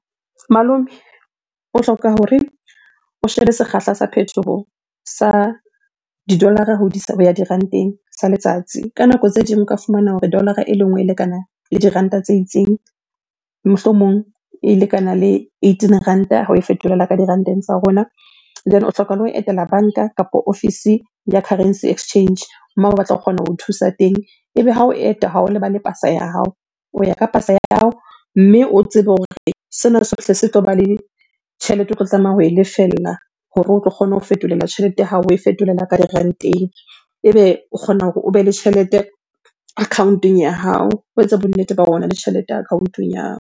Malome o hloka hore o shebe sekgahla sa phethoho sa di-dollar-ra ho di sa, ho ya diranteng sa letsatsi. Ka nako tse ding o ka fumana hore dollar-ra e le nngwe e lekana le diranta tse itseng, mohlomong e lekana le eighteen ranta ha oe fetolela ka diranteng tsa rona. Then o hloka le ho etela banka kapa ofisi ya currency exchange batla ho kgona ho thusa teng. Ebe ha o eta ha o lebale pasa ya hao, o ya ka pasa ya hao. Mme o tsebe hore sena sohle se tloba le tjhelete o tlo tlameha ho lefella hore o tlo kgona ho fetolela tjhelete ya hao oe fetolela ka diranteng. Ebe o kgona hore o be le tjhelete account-ong ya hao, o etse bonnete ba hore ona le tjhelete account-ong ya hao.